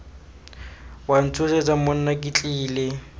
wa ntshosetsa monna ke tlile